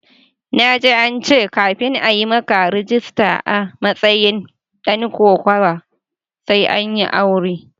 Na ji cewa kafin a yi maka rajista a matsayin dan kokawa sai an yi aure.